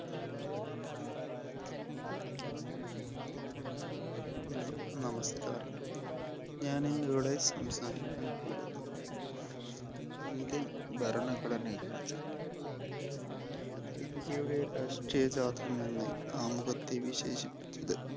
Hello നമസ്ക്കാരം. ഞാനിന്ന് ഇവിടെ സംസാരിക്കാൻ പോകുന്നത് Indian ഭരണഘടനയെക്കുറിച്ചാണ്. ഇന്ത്യയുടെ രാഷ്ട്രീയജാതം എന്ന് ആമുഖത്തെ വിശേഷിപ്പിച്ചത്